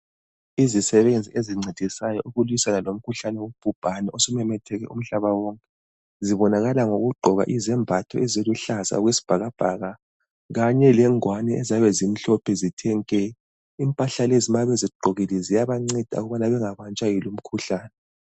Izisebenzi ezincedisayo ukulwisana lomkhuhlane wobhubhane osumemethekile umhlaba wonke, zibonakala ngokugqoka izembatho eziluhlaza okwesibhakabhaka kanye lengwane eziyabe zimhlophe zithe nke. Impahla lezi ma bezigqokile ziyabanceda ukubana bengabanjwa yilumkhuhlane.